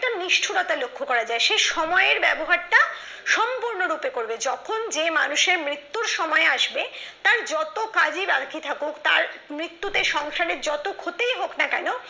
নিষ্ঠুরতা লক্ষ্য করা যায় সে সময়ের ব্যবহারটা সম্পূর্ণরূপে করবে যখন যে মানুষের মৃত্যুর সময় আসবে তার যত কাজই বাকি থাকুক তার মৃত্যুতে সংসারের যতই ক্ষতি হোক না কেন